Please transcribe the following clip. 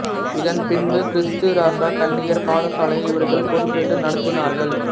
இதன் பின்பு கிறீஸ்து இராசா கன்னியர் பாடசாலையை இவர்கள் பொறுப்பேற்று நடாத்தினார்கள்